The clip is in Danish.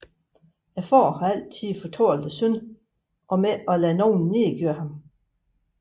Faderen har altid fortalt sønnen om ikke at lade nogen nedgøre ham